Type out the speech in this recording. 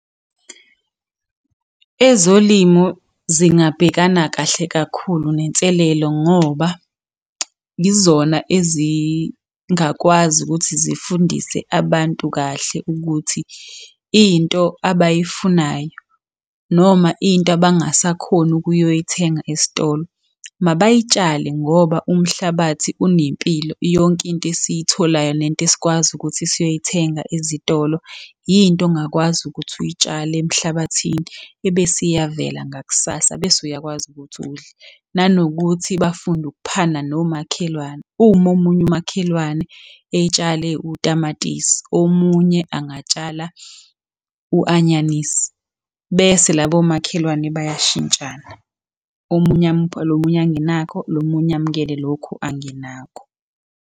Ezolimo zingabhekana kahle kakhulu nenselelo ngoba yizona ezingakwazi ukuthi zifundise abantu kahle ukuthi into abayifunayo noma into abangasakhoni ukuyoyithenga esitolo, mabayitshale ngoba umhlabathi unempilo. Yonke into esiyitholayo nento esikwazi ukuthi siyoyithenga ezitolo, into ongakwazi ukuthi uyitshale emhlabathini, ebese iyavela ngakusasa bese uyakwazi ukuthi udle. Nanokuthi bafunde ukuphana nomakhelwane, uma omunye umakhelwane etshale utamatisi, omunye angatshala u-anyanisi. Bese labo makhelwane bayashintshana, omunye amuphe lo munye angenakho, nomunye amukele lokhu angenakho.